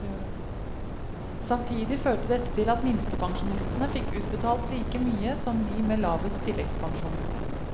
Samtidig førte dette til at minstepensjonistene fikk utbetalt like mye som de med lavest tilleggspensjon.